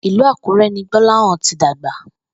Ìlú Àkúré̩ ni Gbó̩láhàn ti dàgbà